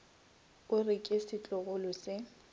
o re ke setlogolo se